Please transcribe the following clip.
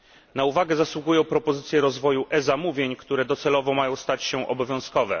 Na uwagę zasługują propozycje rozwoju e zamówień, które docelowo mają stać się obowiązkowe.